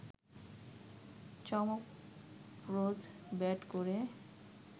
চমকপ্রদ ব্যাট করে